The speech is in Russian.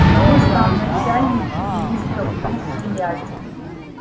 ему сам начальник приисков друг приятель